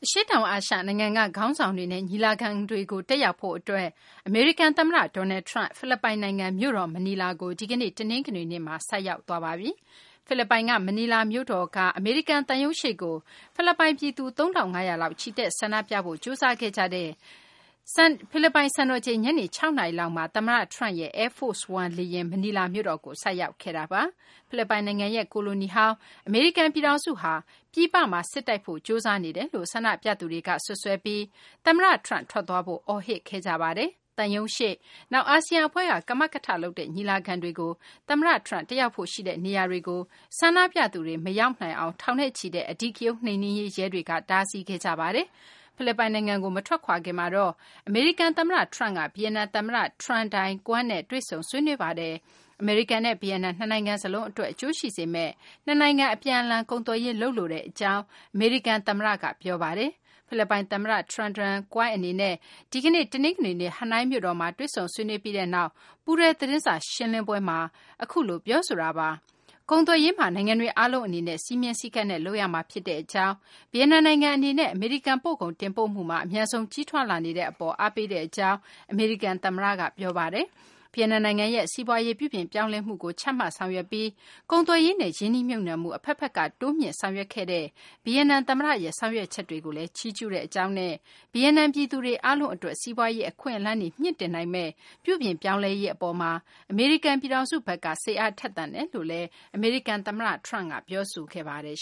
ရှေ့တောင် အာရှ နိုင်ငံက ခေါင်းဆောင်တွေနဲ့ ညီလာခံကို တက်ရောက်ဖို့ အတွက် အမေရိကန် သမ္မတ Donald Trump ဖိလစ်ပိုင်နိုင်ငံ မြို့တော် မနီလာကို ဒီကနေ့ တနင်္ဂနွေနေ့မှာ ရောက်ရှိပါတယ်။ ဖိလစ်ပိုင်က မနီလာမြို့တော်မှာ အမေရိကန် သံရုံးရှေ့ကို ဖိလစ်ပိုင် ပြည်သူ ၃ ထောင့် ၅ ရာလောက် ချီတက်ဆန္ဒပြဖို့ ကြိုးစားခဲ့ကြတဲ့ ဖိလစ်ပိုင် စံတော်ချိန် ညနေ ၆ နာရီမှာ သမ္မတ Trump ရဲ့ Air Force One မနီလာမြို့တော်ကို ဆိုက်ရောက်ခဲ့တာပါ။ ဖိလစ်ပိုင်နိုင်ငံကို ကိုလိုနီပြုခဲ့ဖူးတဲ့ အမေရိကန် ပြည်ထောင်စုဟာ ပြည်ပမှာ စစ်တိုက်ဖို့ ကြိုးစားနေတယ်လို့ ဆန္ဒပြသူတွေက စွပ်စွဲပြီး သမ္မတ Trump ထွက်သွားဖို့ အော်ဟစ်ခဲ့ကြပါတယ်။ သံရုံးရှေ့၊ နောက် အာဆီယံ အဖွဲ့က ကမကထလုပ်တဲ့ ညီလာခံတွေကို သမ္မတ Trump တက်ရောက်ဖို့ ရှိနေတဲ့ နေရာတွေကို ဆန္ဒပြသူတွေ မရောက်အောင် ထောင်နဲ့ချီတဲ့ အဓိကရုဏ်း နှိမ်နင်းရေး ရဲတွေက တားဆီးခဲ့ကြပါတယ်။ ဖိလစ်ပိုင်နိုင်ငံကို မထွက်ခွာခင်မှာတော့ အမေရိကန် သမ္မတ Trump က ဗီယက်နမ် သမ္မတ Tran Dai Quang နဲ့ တွေ့ဆုံ ဆွေးနွေးခဲ့ပါတယ်။ အမေရိကန်နဲ့ ဗီယက်နမ် နှစ်နိုင်ငံ စလုံးအတွက် အကျိုးရှိစေမယ့် နှစ်နိုင်ငံ အပြန်အလှန် ကုန်သွယ်ရေး လုပ်လိုကြောင်း အမေရိကန် သမ္မတ Donald Trump က ပြောဆိုလိုက်ပါတယ်။ ဗီယက်နမ် သမ္မတ Tran Dai Quang နဲ့ ဒီကနေ့ တနင်္ဂနွေနေ့ ဟနွိုင်းမြို့တော်မှာ တွေ့ဆုံဆွေးနွေးပြီးနောက် ပူးတွဲသတင်းစာ ရှင်းလင်းပွဲမှာ အခုလို ပြောဆိုတာပါ။ ကုန်သွယ်ရေးမှာ နိုင်ငံတွေ အားလုံး အနေနဲ့ စည်းမျဉ်းစည်းကမ်းနဲ့ လုပ်ရမှာ ဖြစ်ကြောင်း၊ ဗီယက်နမ်နိုင်ငံ အနေနဲ့ အမေရိကန် ပို့ကုန် တင်ပို့မှုမှာ အမြန်ဆုံး ကြီးထွားလာနေတဲ့ အပေါ်မှာလည်း အားပေးပါကြောင်း အမေရိကန် သမ္မတ Trump က ပြောဆိုပါတယ်။ ဗီယက်နမ် နိုင်ငံရဲ့ စီးပွားရေး ပြုပြင်ပြောင်းလဲမှုကို ချမှတ်ဆောင်ရွက်ခဲ့ပြီး ကုန်သွယ်ရေးနဲ့ ရင်းနှီးမြှုပ်နှံမှု အဘက်ဘက်က တိုးမြှင့်ဆောင်ရွက်ခဲ့တဲ့ ဗီယက်နမ် သမ္မတရဲ့ ဆောင်ရွက်ချက်တွေကိုလည်း ချီးကျူးကြောင်းနဲ့ ဗီယက်နမ် ပြည်သူ အားလုံးအတွက် စီးပွားရေး အခွင့်အလမ်းတွေ မြှင့်တင်နိုငမယ့် ပြုပြင်ပြောင်းလဲရေး အပေါ်မှာ အမေရိကန် ပြည်ထောင်စုဘက်က စိတ်အားထက်သန်ကြောင်း အမေရိကန် သမ္မတက ပြောဆိုခဲ့ပါတယ်